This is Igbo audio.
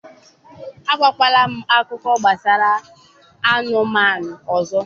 agwakwala m akụkọ gbasara anụmanụ ọzọ!